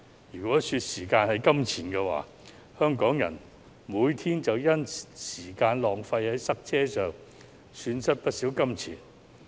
如果時間是金錢，香港人每天便因浪費時間在塞車之上而損失不少金錢。